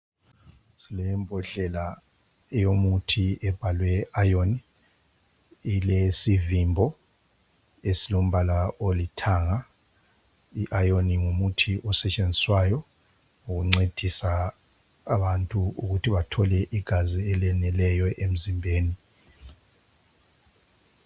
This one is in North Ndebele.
Silembodlela yomuthi ebhalwe iron Ilesivimbo esilombala olithanga I iron ngumuthi osetshenziswayo ukuncedisa abantu ukuthi bathole igazi eleneleyo emzimbeni